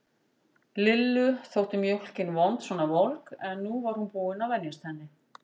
Lillu þótt mjólkin vond svona volg, en nú var hún búin að venjast henni.